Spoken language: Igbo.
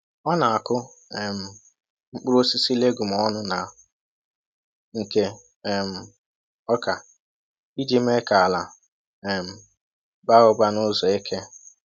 Ọ na-akụ um mkpụrụ osisi legume ọnụ na nke um ọka iji mee ka ala um baa ụba n’ụzọ eke.